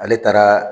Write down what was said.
Ale taara